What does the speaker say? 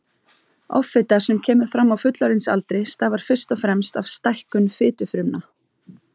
Offita sem kemur fram á fullorðinsaldri stafar fyrst og fremst af stækkun fitufrumna.